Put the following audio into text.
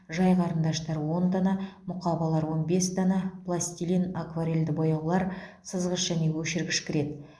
жай қарындаштар он дана мұқабалар он бес дана пластилин акварельді бояулар сызғыш және өшіргіш кіреді